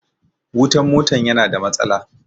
Wutan mota ya na da matsala